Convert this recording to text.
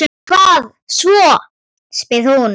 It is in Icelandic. Og hvað svo, spyr hún.